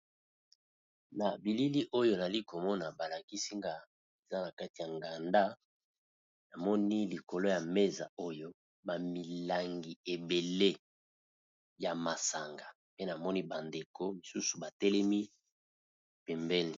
Na bilili oyo nali kovmona ba lakisi nga, eza na kati ya nganda, na moni likolo ya mesa oyo ba milangi ébélé ya masanga, pe na moni ba ndeko misusu ba telemi pembeni .